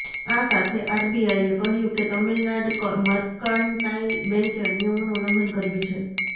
આ સાથે આરબીઆઈએ કહ્યું કે તમિલનાડ મર્કેન્ટાઇલ બેંકે નિયમોનું ઉલ્લંઘન કર્યું છે